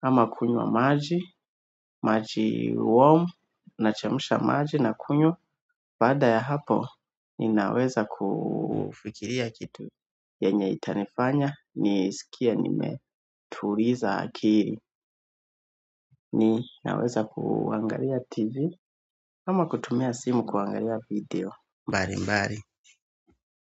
ama kunywa maji, maji warm, na chemsha maji na kunywa baada ya hapo, ninaweza kufikiria kitu yenye itanifanya, nisikie nimetuliza akili ninaweza kuangalia tv, ama kutumia simu kuangalia video mbali mbali.